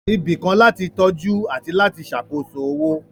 Ibì kan láti tọ́jú àti láti ṣàkóso owó